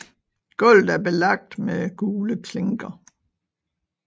Gulvet er belagt med gule klinker